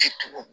Ciw